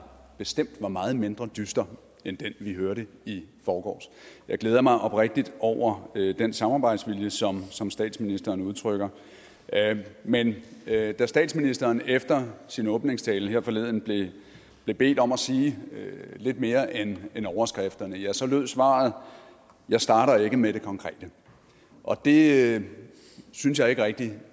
bestemt var meget mindre dyster end den vi hørte i forgårs jeg glæder mig oprigtigt over den samarbejdsvilje som som statsministeren udtrykker men da da statsministeren efter sin åbningstale her forleden blev bedt om at sige lidt mere end end overskrifterne så lød svaret jeg starter ikke med det konkrete og det synes jeg ikke rigtig